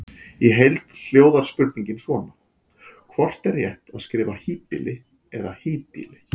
Í heild hljóðar spurningin svona: Hvort er rétt að skrifa híbýli eða hýbýli?